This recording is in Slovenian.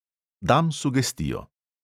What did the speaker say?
Dam sugestijo.